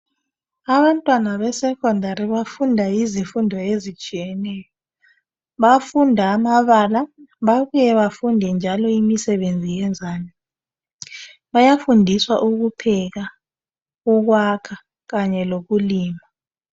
Abantwana be secondary bafunda izifundo ezitshiyeneyo, bayafunda amabala, babuye bafunde njalo imisebenzi yezandla, bayafundiswa ukupheka, ukwakha, kanye lokulima.